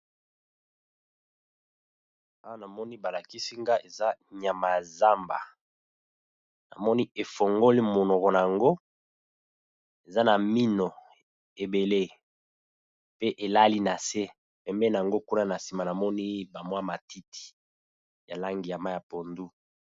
Awa namoni ba lakisi nga eza nyama ya zamba, namoni efongoli monoko nango eza na mino ebele pe elali na se pembeni nango kuna na nsima namoni ba mwa matiti ya langi ya mayi ya pondu.